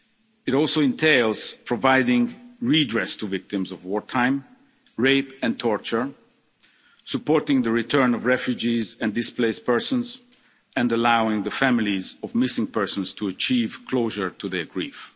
It also entails providing redress to victims of war crime, rape and torture, supporting the return of refugees and displaced persons, and allowing the families of missing persons to achieve closure to their